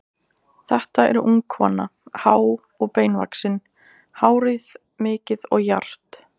Þetta er ung kona, há og beinvaxin, hárið mikið og jarpt.